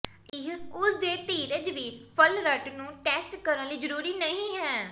ਇਹ ਉਸ ਦੇ ਧੀਰਜ ਵੀ ਫਲਰਟ ਨੂੰ ਟੈਸਟ ਕਰਨ ਲਈ ਜ਼ਰੂਰੀ ਨਹੀ ਹੈ